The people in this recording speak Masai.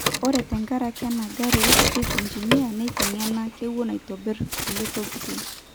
Ore tenkaraki ena gari Street Engineer neitengena kewon aitobir kulie tokitin.